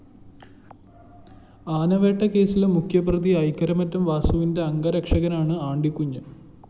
ആനവേട്ടകേസിലെ മുഖ്യപ്രതി ഐക്കരമറ്റം വാസുവിന്റെ അംഗരക്ഷനാണ് ആണ്ടിക്കുഞ്ഞ്